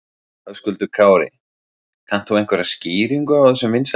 Höskuldur Kári: Kannt þú einhverja skýringu á þessum vinsældum?